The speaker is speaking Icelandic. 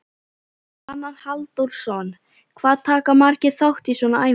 Svavar Halldórsson: Hvað taka margir þátt í svona æfingu?